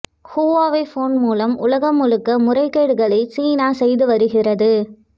Huawei phone மூலம் உலகம் முழுக்க முறைகேடுகளை சீனா செய்து வருகிறது